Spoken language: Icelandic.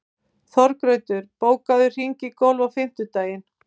Þorgautur, bókaðu hring í golf á fimmtudaginn.